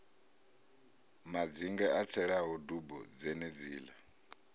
madzinge i tselaho dubo dzenedziḽa